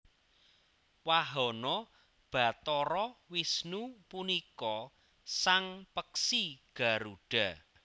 Wahana Bathara Wisnu punika sang peksi Garudha